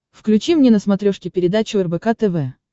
включи мне на смотрешке передачу рбк тв